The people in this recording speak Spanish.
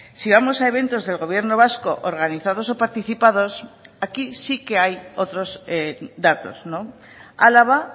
si vamos a eventos del gobierno vasco organizados o participados aquí sí que hay otros datos álava